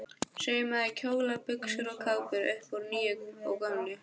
Saumaði kjóla, buxur og kápur upp úr nýju og gömlu.